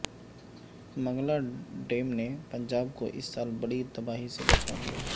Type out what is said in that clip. Mangla dam نے پنجاب کو اس سال بڑی تباہی سے بچالیا